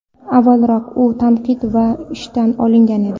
Avvalroq u tanqid bilan ishdan olingan edi.